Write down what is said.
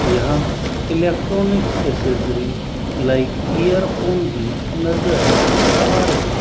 यहां electronics accessory like earphone भी नजर आ रही --